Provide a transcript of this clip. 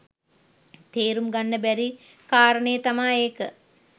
තේරුම් ගන්න බැරි කාරණේ තමා ඒක.